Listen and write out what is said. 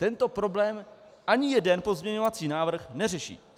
Tento problém ani jeden pozměňovací návrh neřeší.